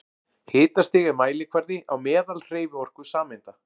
Hitastig er mælikvarði á meðalhreyfiorku sameinda.